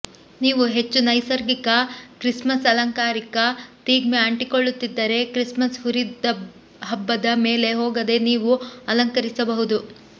ನೀವು ಹೆಚ್ಚು ನೈಸರ್ಗಿಕ ಕ್ರಿಸ್ಮಸ್ ಅಲಂಕಾರಿಕ ಥೀಮ್ಗೆ ಅಂಟಿಕೊಳ್ಳುತ್ತಿದ್ದರೆ ಕ್ರಿಸ್ಮಸ್ ಹುರಿಹಬ್ಬದ ಮೇಲೆ ಹೋಗದೆ ನೀವು ಅಲಂಕರಿಸಬಹುದು